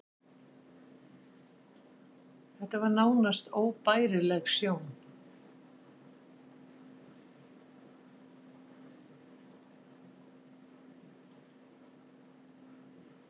Þetta var nánast óbærileg sjón.